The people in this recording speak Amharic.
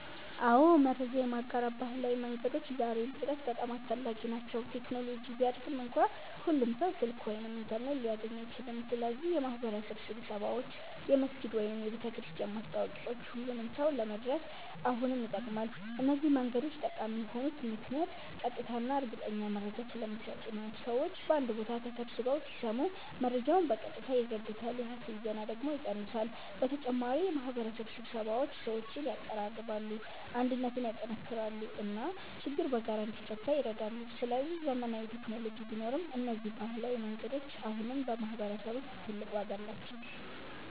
አዎ፣ መረጃ የማጋራት ባህላዊ መንገዶች ዛሬም ድረስ በጣም አስፈላጊ ናቸው። ቴክኖሎጂ ቢያድግም እንኳ ሁሉም ሰው ስልክ ወይም ኢንተርኔት ሊያገኝ አይችልም። ስለዚህ የማህበረሰብ ስብሰባዎች፣ የመስጊድ ወይም የቤተክርስቲያን ማስታወቂያዎች ሁሉንም ሰው ለመድረስ አሁንም ይጠቅማሉ። እነዚህ መንገዶች ጠቃሚ የሆኑት ምክንያት ቀጥታ እና እርግጠኛ መረጃ ስለሚሰጡ ነው። ሰዎች በአንድ ቦታ ተሰብስበው ሲሰሙ መረጃውን በቀጥታ ይረዱታል፣ የሐሰት ዜና ደግሞ ይቀንሳል። በተጨማሪ የማህበረሰብ ስብሰባዎች ሰዎችን ያቀራርባሉ፣ አንድነትን ያጠናክራሉ እና ችግር በጋራ እንዲፈታ ይረዳሉ። ስለዚህ ዘመናዊ ቴክኖሎጂ ቢኖርም እነዚህ ባህላዊ መንገዶች አሁንም በማህበረሰብ ውስጥ ትልቅ ዋጋ አላቸው።